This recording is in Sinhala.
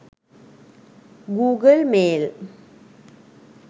google mail